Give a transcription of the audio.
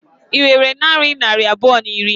Ị nwere narị naira abụọ na iri?